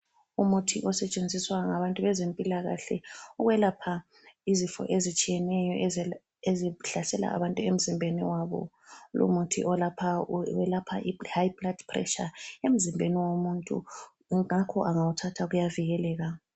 Umuthi osetshenziswa ngabantu bezempilakahle ukwelapha izifo ezitshiyeneyo ezihlasela abantu emzimbeni wabo. Lumuthi olapha welapha ihigh blood pressure emzimbeni womuntu. Ngakho engawuthatha uyavikeleka.